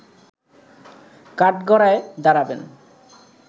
কাঠগড়ায় দাঁড়াবেন